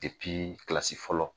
kilasi fɔlɔ